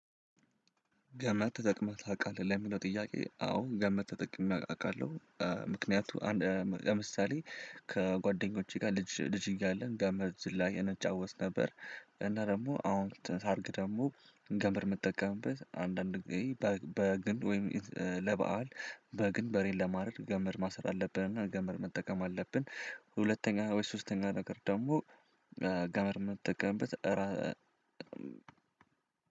ገመድ ተጠቅመህ ታውቃለህ ለሚለው ጥያቄ አዎ ገመድ ተጠቅሜ አውቃለህ ምክንያቱም ለምሳሌ ከጓደኞቼ ጋር ልጅ ልጅ እያለን ገመድ ዝላይ እንጫወት ነበር። እና ደግሞ አሁን ሳርግ ደግሞ ገመድ የምጠቀምበት አንዳንድ በግን ወይም ለበአል በግን በሬን ለማድረግ ገመድ ማሰር አለብንና ገመድ መጠቀም አለብን። ሁለተኛ ወይ ሶስተኛ ነገር ደግሞ ገመድ የምጠቀምበት።